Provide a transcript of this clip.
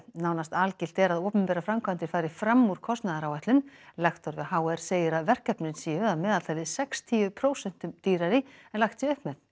nánast algilt er að opinberar framkvæmdir fari fram úr kostnaðaráætlun lektor við h r segir að verkefnin séu að meðaltali sextíu prósentum dýrari en lagt sé upp með